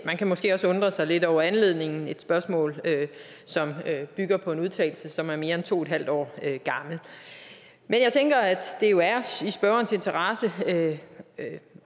man kan måske også undre sig lidt over anledningen nemlig et spørgsmål som bygger på en udtalelse som er mere end to en halv år gammel men jeg tænker at spørgerens interesse